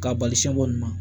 K'a bali siɲɛ bɔ ɲuman